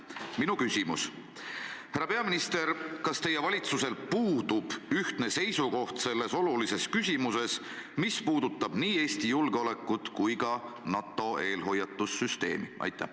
Minu küsimus: härra peaminister, kas teie valitsusel puudub ühtne seisukoht selles olulises küsimuses, mis puudutab nii Eesti julgeolekut kui ka NATO eelhoiatussüsteemi?